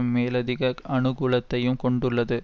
மேலதிக அனுகூலத்தையும் கொண்டுள்ளது